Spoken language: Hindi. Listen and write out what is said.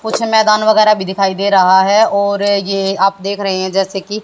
कुछ मैदान वगैरा भी दिखाई दे रहा है और ये आप देख रहे है जैसे की--